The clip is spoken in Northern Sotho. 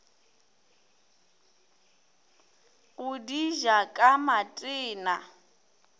go di ja ka matena